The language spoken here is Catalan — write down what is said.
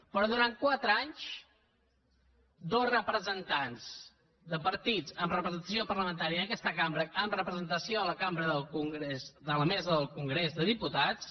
però durant quatre anys dos representants de partits amb representació parlamentària en aquesta cambra amb representació a la cambra del congrés a la mesa del congrés de diputats